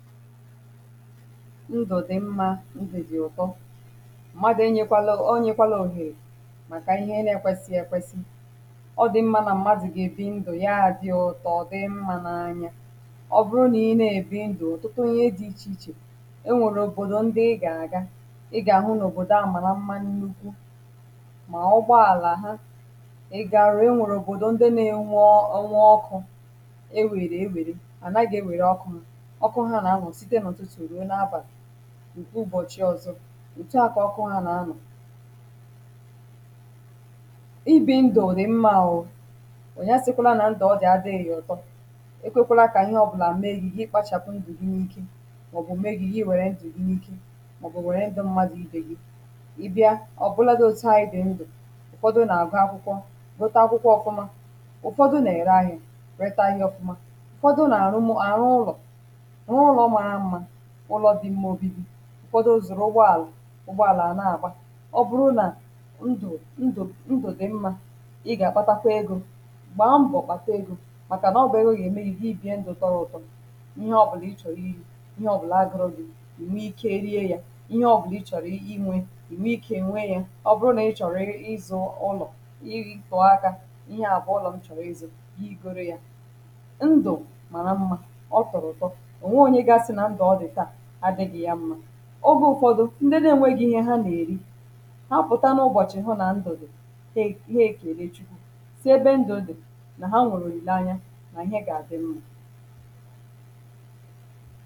ndụ̀ dị̀ mmȧ ndụ̀ dị̀ ụ̀tọ mmadụ̀ enyėkwala enyėkwala òhèrè màkà ihe n’ ekwesị̇ ekwesị ọ dị̀ mmȧ nà mmadụ̀ gà-èbi ndụ̀ ya dị ụ̀tọ dị mmȧ n’ anya ọ bụrụ nà ị na-èbi ndụ̀ ọ̀tụtụ ihe dị̇ ichè ichè e nwèrè òbòdò ndị ị gà-àga ị gà-àhụ n’ òbòdò a màrà mmȧ nnukwu mà ụgbọàlà ha ị gà-àrụ e nwèrè òbòdò ndị na-enwe ọ ọnwu ọkụ̇ e wèrè ewère ànàghị̀ ewère ọkụ nà ǹke ụbọ̀chị ọzọ ùtu à kà ọ kụọ ha nà anọ̀ ibì ndụ̀ dị̀ mmȧ o ònye asịkwȧla nà ndụ̀ ọ dị̀ adị̇ghị̇ ọ̀tọ e kwėkwȧla kà ihe ọ̇bụ̇là mee gị̇ gị kpȧchàpụ̀ ndụ̀ n’iki màọ̀bụ̀ mee gị̇ gị wère ndụ̀ n’iki màọ̀bụ̀ wère ndụ̀ mmadụ̀ ibì gị ị bịa ọ̀bụ̇lȧdị̇ òtu à i dị̀ ndụ̀ ụ̀fọdụ nà àgụ akwụkwọ dọta akwụkwọ ọ̇fụ̇ma ụ̀fọdụ nà-ère ahịȧ rete ahịa ọ̇fụ̇ma ụ̀fọdụ nà àrụ ụlọ̀ ụkwado zùrù ụgbọàlà ụgbọàlà à na-àgba ọ bụrụ nà ndụ̀ ndụ̀ ndụ̀ dị̀ mmȧ ị gà-àkpatakwa egȯ gbàa mbọ̀ kpàta egȯ màkà nà ọbụ̀ egȯ gà-ème ihe ibi̇ ndụ̇ tọrọ̀ ụ̀tọ ihe ọbụ̀lụ̀ ị chọ̀rọ̀ iri̇ ihe ọbụ̀là agụrụ gị̇ ì nwe ikė rie yȧ ihe ọ bụ̀la ị chọ̀rọ̀ inwė ì nwe ikė nwe yȧ ọ bụrụ nà ị chọ̀rọ̀ ịzụ̇ ụlọ̀ ị gị̇ tụ̀ọ aka ihe àbụ̀ ụlọ̀ nchọ̀rọ̀ izu̇ igȯri̇ yȧ ndụ̀ màrà mmȧ ọ tọ̀rọ̀ ụ̀tọ ogė ụfọdụ ndị na-enwegị̀ ihe ha na-erì ha pụ̀ta n’ụbọ̀chị̀ hụ nà ndụ̀ dị̀ he ihe ekère chukwu sị ebe ndụ̀ dị̀ nà ha nwèrè òlìlè anya nà ihe gà-àdị mmȧ